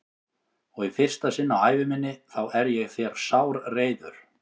Og í fyrsta sinn á ævi minni þá er ég þér sárreiður.